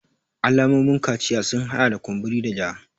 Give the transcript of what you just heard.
Alamomin kaciya sun hada da kumburi da ja